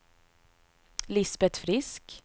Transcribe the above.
Lisbet Frisk